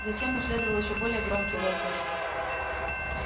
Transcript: затем последовал ещё более громкий возглас